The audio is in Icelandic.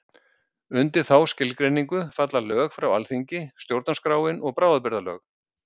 Undir þá skilgreiningu falla lög frá Alþingi, stjórnarskráin og bráðabirgðalög.